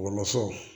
Wɔlɔsɔw